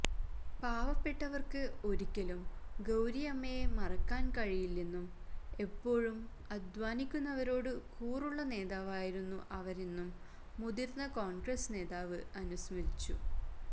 പാവപ്പെട്ടവർക്ക് ഒരിക്കലും ഗൌരിയമ്മയെ മറക്കാൻ കഴിയില്ലെന്നും എപ്പോഴും അധ്വാനിക്കുന്നവരോട് കൂറുള്ള നേതാവായിരുന്നു അവരെന്നും മുതിർന്ന കോൺഗ്രസ് നേതാവ് അനുസ്മരിച്ചു